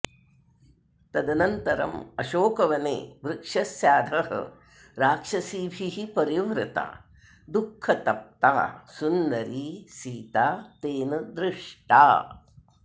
तदनन्तरम् अशोकवने वृक्षस्याधः राक्षसीभिः परिवृता दुःखतप्ता सुन्दरी सीता तेन दृष्टा